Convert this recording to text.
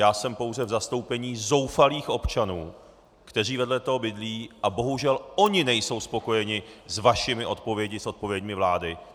Já jsem pouze v zastoupení zoufalých občanů, kteří vedle toho bydlí, a bohužel oni nejsou spokojeni s vašimi odpověďmi, s odpověďmi vlády.